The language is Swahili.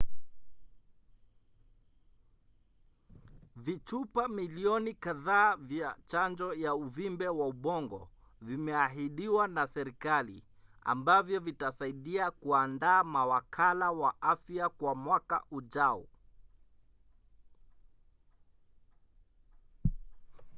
vichupa milioni kadhaa vya chanjo ya uvimbe wa ubongo vimeahidiwa na serikali ambavyo vitasaidia kuandaa mawakala wa afya kwa mwaka ujao